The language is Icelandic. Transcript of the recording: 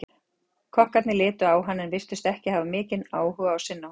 Kokkarnir litu á hann en virtust ekki hafa mikinn áhug á að sinna honum.